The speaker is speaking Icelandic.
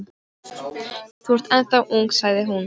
Þú ert ennþá ung sagði hún.